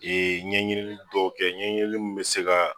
ɲɛɲinili dɔw kɛ ɲɛɲinili mun mɛ se ka